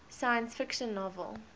science fiction novel